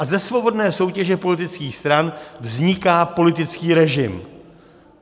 A ze svobodné soutěže politických stran vzniká politický režim.